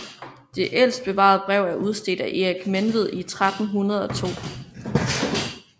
Det ældste bevarede brev er udstedt af Erik Menved i 1302